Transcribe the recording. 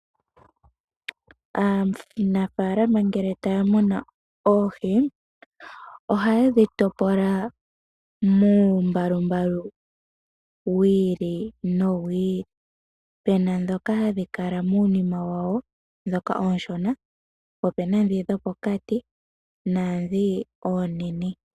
Aanafaalama ngele taya munu oohi ohaye dhi topola muumbalumbalu w iili nowi ili, puna mboka hawu kala muunima wawo ndhoka oshona po opuna ndhoka dhopokati naadhoka onene.